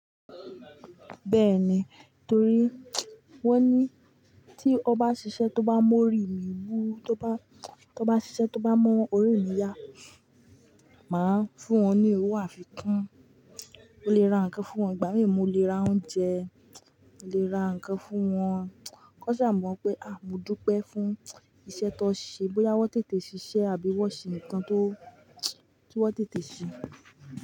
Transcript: Bẹ́ẹ̀ni, torí wọ́n ní tí ọ bá ṣiṣẹ́ tó bá mu orí mi wú, tó bá, tó bá ṣiṣẹ́ tó bá mọ́ orí mi yá, màá fún wọn ní owó àfikún. Mo lè ra nǹkan fún wọn, ìgbà mí mo lè ra oúnjẹ, mo lè ra nǹkan fún wọn. Kàn ṣà mọ̀ pé à ń módúpẹ́ fún iṣẹ́ tóń ṣe bóyá wọ́n tètè ṣiṣẹ́ àbí wọ́n ṣe ǹkan tó, tí wọ́n tètè ṣe.